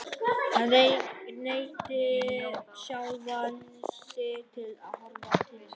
Hann neyddi sjálfan sig til að horfa til hafs.